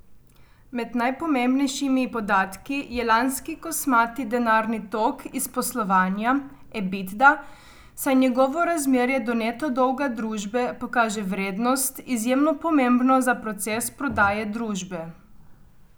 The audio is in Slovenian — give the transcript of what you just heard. Med najpomembnejšimi podatki je lanski kosmati denarni tok iz poslovanja, Ebitda, saj njegovo razmerje do neto dolga družbe pokaže vrednost, izjemno pomembno za proces prodaje družbe.